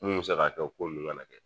Mun mɛ se ka kɛ o ko nun kana kɛ.